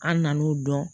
An nan'o dɔn